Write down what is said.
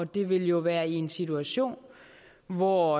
det vil jo være i en situation hvor